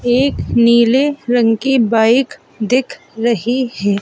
एक नीले रंग की बाइक दिख रही है।